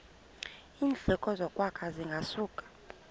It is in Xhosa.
iindleko zokwakha zingasuka